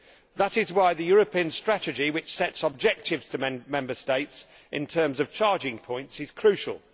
That is why the European strategy which sets objectives for Member States in terms of charging points is crucial.